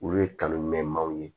Olu ye kanu mɛn maaw ye